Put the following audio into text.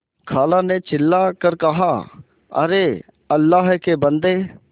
खाला ने चिल्ला कर कहाअरे अल्लाह के बन्दे